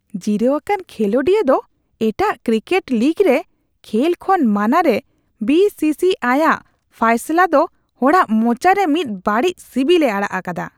ᱡᱤᱨᱟᱹᱣ ᱟᱠᱟᱱ ᱠᱷᱮᱞᱚᱱᱰᱤᱭᱟᱹ ᱫᱚ ᱮᱴᱟᱜ ᱠᱨᱤᱠᱮᱴ ᱞᱤᱜᱽ ᱨᱮ ᱠᱷᱮᱞ ᱠᱷᱚᱱ ᱢᱟᱱᱟᱨᱮ ᱵᱤᱥᱤᱥᱤ (BCCI's) ᱟᱜ ᱯᱷᱟᱭᱥᱟᱞᱟ ᱫᱚ ᱦᱚᱲᱟᱜ ᱢᱚᱪᱟ ᱨᱮ ᱢᱤᱫ ᱵᱟᱹᱲᱤᱡ ᱥᱤᱵᱤᱞᱮ ᱟᱲᱟᱜ ᱟᱠᱟᱫᱟ᱾